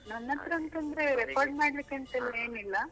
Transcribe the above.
ನನ್ನತ್ರ ಅಂತಂದ್ರೆ record ಮಾಡ್ಲಿಕ್ಕೆ ಏನು ಇಲ್ಲಾ.